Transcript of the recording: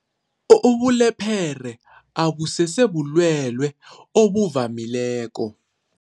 Ubulephere abusese bulwele obuvamileko.